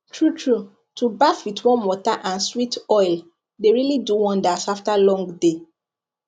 truetrue to baff with warm water and sweet oil dey really do wonders after long day